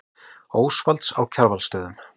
Ósvalds á Kjarvalsstöðum.